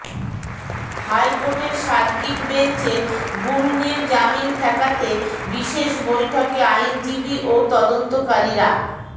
হাইকোর্টের সার্কিট বেঞ্চে গুরুংয়ের জামিন ঠেকাতে বিশেষ বৈঠকে আইনজীবী ও তদন্তকারীরা